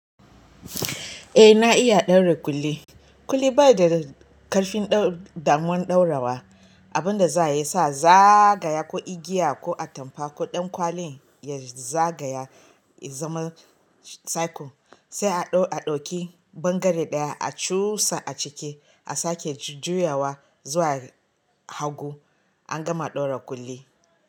Eh na iya daure kuli. Kuli baya da ƙarfin damuwar ɗaurawa, abinda za ya sa zagaya ko igiya ko atampa ko ɗankwalin ya zagaya ya zama circle. Sai a ɗauki bangare ɗaya a cusa a ciki a sake juyawa zuwa hagu. An gama ɗaura kuli.